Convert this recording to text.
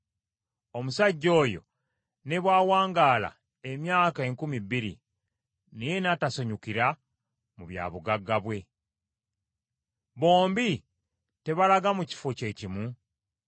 omusajja oyo ne bw’awangaala emyaka enkumi bbiri, naye n’atasanyukira mu bya bugagga bwe. Bombi tebalaga mu kifo kye kimu?